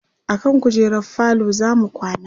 akan kujerar falo zamu kwana